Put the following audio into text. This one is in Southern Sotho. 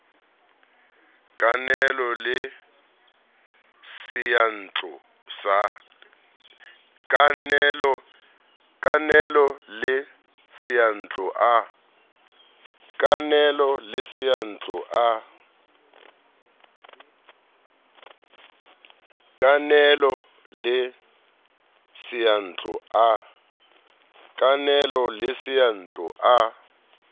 a kenelo le seyantlo a